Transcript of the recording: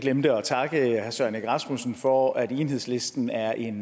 glemte at takke herre søren egge rasmussen for at enhedslisten er en